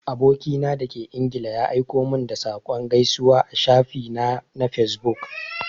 Aboki na da ke ingila ya aiko min da saƙon gaisuwa a shafi na na fesbuk.